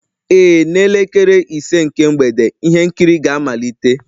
Ee, n'elekere ise nke mgbede ihe nkiri ga-amalite